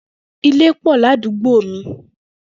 Ilé pọ̀ ní àdúgbò mi